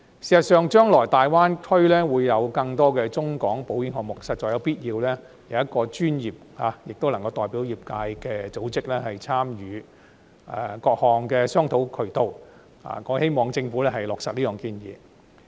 事實上，大灣區將來會有更多中港保險項目，實在必要有一個專業並能代表業界的組織參與各項商討渠道，我希望政府落實這項建議。